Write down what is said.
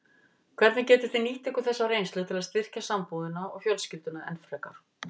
Hvernig getið þið nýtt ykkur þessa reynslu til að styrkja sambúðina og fjölskylduna enn frekar?